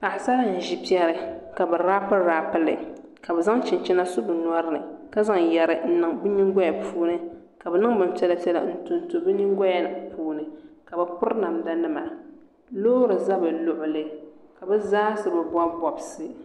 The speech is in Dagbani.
Paɣasara n ʒi piɛri ka bi raapi raapi li ka bi zaŋ chinchina so bi nyori ni ka zaŋ yɛri n niŋ bi nyingoya puuni ka bi niŋ bin piɛla piɛla n tonto bi nyingoya puuni ka bi piri namda nima loori ʒɛ bi luɣuli ka bi zaa so bi bob bobsi